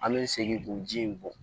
An bɛ segin k'o ji in bɔ